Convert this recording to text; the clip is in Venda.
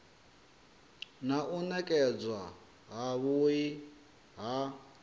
na u nekedzwa havhui ha